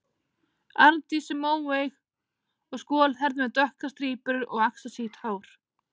Arndís er móeyg og skolhærð með dökkar strípur og axlasítt hár.